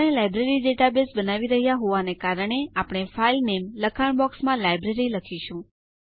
આપણે library database બનાવી રહ્યા હોવાને કારણે આપણે ફાઇલ નામે લખાણ બોક્સમાં લાઇબ્રેરી લખીશું